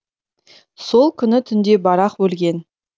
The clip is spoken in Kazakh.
сол күні түнде барақ өлген